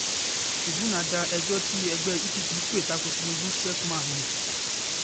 tìrìbùnà da ẹjọ́ tí ẹgbẹ́ epp pè ta ko tinubu sheffman nù